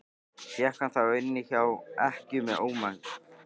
Fékk hann þá inni hjá ekkju með ómegð.